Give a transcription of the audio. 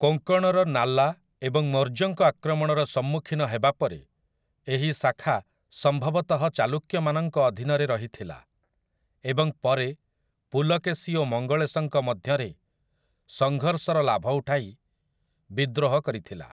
କୋଙ୍କଣର ନାଲା ଏବଂ ମୌର୍ଯ୍ୟଙ୍କ ଆକ୍ରମଣର ସମ୍ମୁଖୀନ ହେବା ପରେ ଏହି ଶାଖା ସମ୍ଭବତଃ ଚାଲୁକ୍ୟମାନଙ୍କ ଅଧୀନରେ ରହିଥିଲା, ଏବଂ ପରେ ପୁଲକେଶି ଓ ମଙ୍ଗଳେଶଙ୍କ ମଧ୍ୟରେ ସଂଘର୍ଷର ଲାଭ ଉଠାଇ ବିଦ୍ରୋହ କରିଥିଲା ।